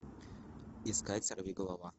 искать сорвиголова